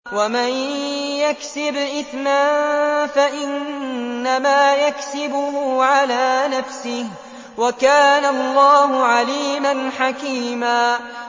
وَمَن يَكْسِبْ إِثْمًا فَإِنَّمَا يَكْسِبُهُ عَلَىٰ نَفْسِهِ ۚ وَكَانَ اللَّهُ عَلِيمًا حَكِيمًا